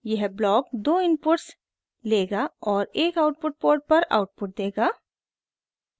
यह ब्लॉक दो इनपुट्स लेगा और एक आउटपुट पोर्ट पर आउटपुट देगा